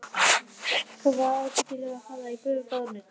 Hún var ábyggilega að fara í gufubað og nudd.